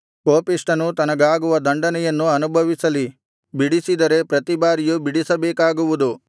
ಕೋಪಿಷ್ಠನು ತನಗಾಗುವ ದಂಡನೆಯನ್ನು ಅನುಭವಿಸಲಿ ಬಿಡಿಸಿದರೆ ಪ್ರತಿಬಾರಿಯೂ ಬಿಡಿಸಬೇಕಾಗುವುದು